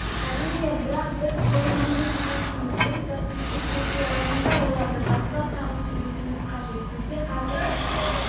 тұрақты түрде кездесетін қазақ жұбы бар олар бізге дейін қысылып өзінің фантазияларын сыртқа шығара алмай